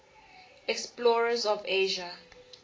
explorers of asia